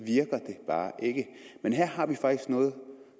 bare ikke men her har vi faktisk noget